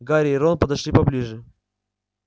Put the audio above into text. гарри и рон подошли поближе